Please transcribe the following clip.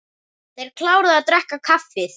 Þeir kláruðu að drekka kaffið.